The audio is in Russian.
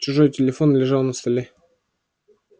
чужой телефон лежал на столе